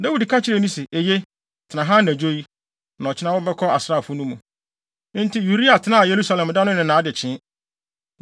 Na Dawid ka kyerɛɛ no se, “Eye, tena ha anadwo yi, na ɔkyena wobɛkɔ asraafo no mu.” Enti Uria tenaa Yerusalem da no ne nʼadekyee.